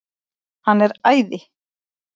Hann er æði!